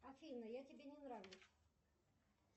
афина я тебе не нравлюсь